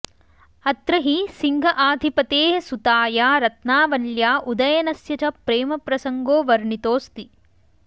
अत्र हि सिंहआधिपतेः सुताया रत्नावल्या उदयनस्य च प्रेमप्रसङ्गो वणितोऽस्ति